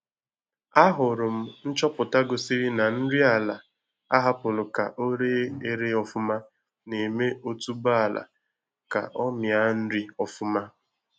Ahụrụ m nchọpụta gosiri na nri ala ahapụrụ ka o re ere ofụma na-eme otuboala ka ọ mịa nri ọfụma